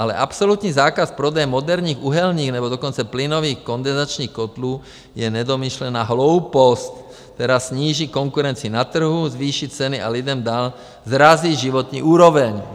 Ale absolutní zákaz prodeje moderních uhelných, nebo dokonce plynových kondenzačních kotlů je nedomyšlená hloupost, která sníží konkurenci na trhu, zvýší ceny a lidem dál srazí životní úroveň.